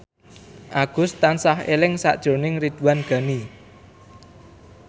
Agus tansah eling sakjroning Ridwan Ghani